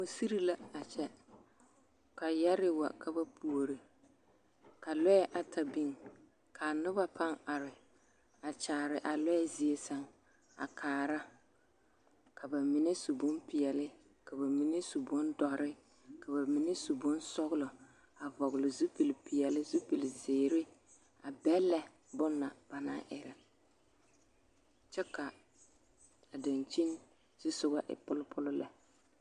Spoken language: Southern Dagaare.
Musiri la a kyɛ ka yɛre wa ka ba puure ka lɔɛ ata biŋ ka noba paŋ are a kyaare a lɔɛ zie saŋ na a kaara ka ba mine su bon peɛle ka ba mine su bon dɔre ka ba mine su bonsɔŋlɔ a vɔle sapile peɛle zupile ziire a bɛlɛ bon na ba naŋ eɛri kaa daŋkyine zu e pulpul lɛ